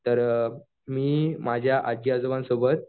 तर मी माझ्या आज्जी आजोबांसोबत